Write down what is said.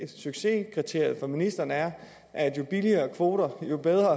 succeskriteriet for ministeren er at jo billigere kvoter jo bedre